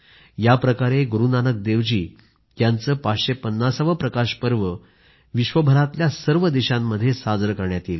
याप्रकारे गुरूनानक देव जी यांचे 550 वे प्रकाश पर्व विश्वभरातल्या सर्व देशांमध्ये साजरे करण्यात येईल